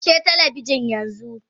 Kashe talabijin yanzu!